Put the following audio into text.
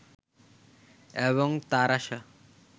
এবং তার আশা